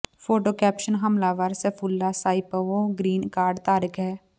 photo caption ਹਮਲਾਵਰ Sayfullo Saipov green card ਧਾਰਕ ਹੈ